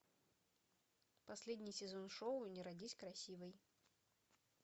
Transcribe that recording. последний сезон шоу не родись красивой